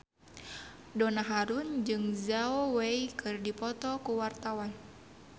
Donna Harun jeung Zhao Wei keur dipoto ku wartawan